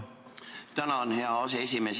Tänan, hea aseesimees!